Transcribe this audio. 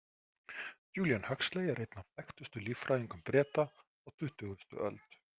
Julian Huxley er einn af þekktustu líffræðingum Breta á tuttugasti öld.